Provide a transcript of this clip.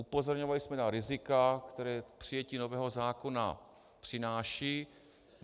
Upozorňovali jsme na rizika, která přijetí nového zákona přináší.